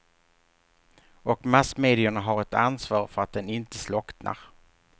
Och massmedierna har ett ansvar för att den inte slocknar.